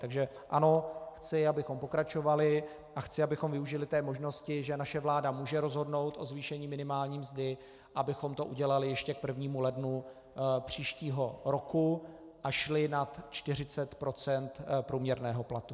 Takže ano, chci, abychom pokračovali, a chci, abychom využili té možnosti, že naše vláda může rozhodnout o zvýšení minimální mzdy, abychom to udělali ještě k 1. lednu příštího roku a šli nad 40 % průměrného platu.